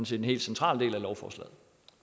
set en helt central del af lovforslaget